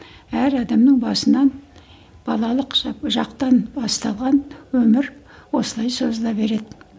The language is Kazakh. әр адамның басынан балалық құсап жақтан басталған өмір осылай созыла береді